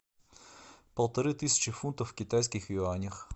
полторы тысячи фунтов в китайских юанях